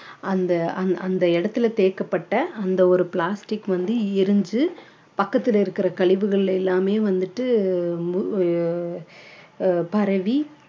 அந்த அந்~ அந்த இடத்துல தேக்கப்பட்ட அந்த ஒரு plastic வந்து எரிஞ்சு பக்கத்துல இருக்கிற கழிவுகள்ல எல்லாமே வந்துட்டு அஹ் பரவி